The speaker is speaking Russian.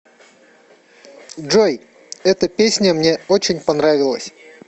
джой эта песня мне очень понравилась